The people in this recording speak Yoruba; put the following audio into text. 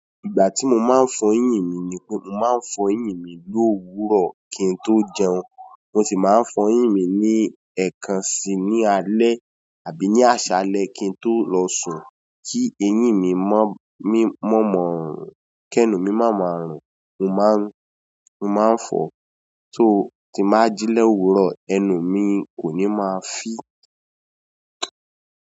Ìgbà tí mo máa ń fọ eyín mi ni pé mo máa ń fọ eyín mi lowuro kí n tó jẹun. Mo sì máa ń fọ eyín mi ní ẹ̀kan sí ní alẹ́ àbí ní àsálẹ kí n tó lọ sùn kí eyín mi mọ́, mọ̀ọ́mọ̀ ọrùn, kí ẹnu mi má ma rùn. Mo máa ń, mo máa ń fọ so ti máa jí l'owurọ, ẹnu mi kò ní máa fì.